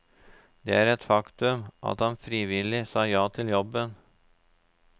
Det er et faktum at han frivillig sa ja til jobben.